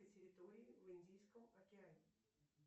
территории в индийском океане